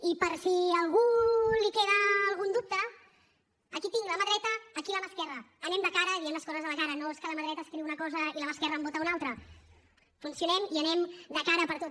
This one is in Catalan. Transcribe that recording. i per si a algú li queda algun dubte aquí tinc la mà dreta aquí la mà esquerra anem de cara diem les coses a la cara no és que la mà dreta escriu una cosa i la mà esquerra en vota una altra funcionem i anem de cara a per tot